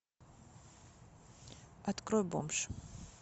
открой бомж